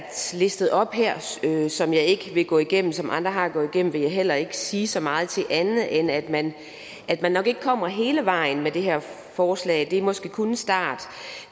listet op her som jeg ikke vil gå igennem men som andre har gået igennem vil jeg heller ikke sige så meget til andet end at man at man nok ikke kommer hele vejen med det her forslag det er måske kun en start